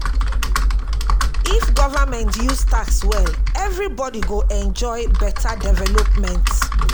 if government use tax well everybody go enjoy beta development.